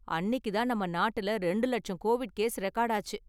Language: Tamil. அன்னிக்கு தான் நம்ம நாட்டுல ரெண்டு லட்சம் கோவிட் கேஸ் ரெகார்டு ஆச்சு.